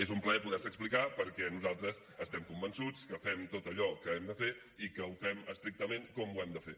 és un plaer poder se explicar perquè nosaltres estem convençuts que fem tot allò que hem de fer i que ho fem estrictament com ho hem de fer